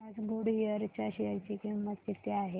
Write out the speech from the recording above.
आज गुडइयर च्या शेअर ची किंमत किती आहे